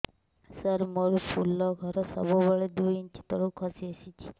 ସାର ମୋର ଫୁଲ ଘର ସବୁ ବେଳେ ଦୁଇ ଇଞ୍ଚ ତଳକୁ ଖସି ଆସିଛି